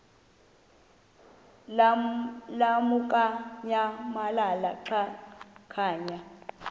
lamukunyamalala xa kanye